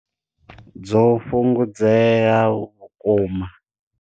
Dzo fhungudzea vhukuma.